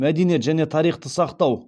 мәдениет және тарихты сақтау